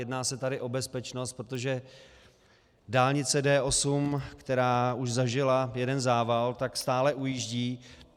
Jedná se tady o bezpečnost, protože dálnice D8, která už zažila jeden zával, stále ujíždí.